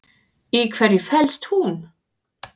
Í hverju felst hún?